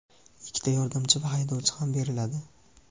ikkita yordamchi va haydovchi ham beriladi.